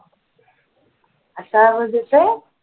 आता आवाज येतोय